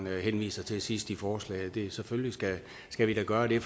henviser til sidst i forslaget selvfølgelig skal skal vi da gøre det